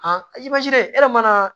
e yɛrɛ mana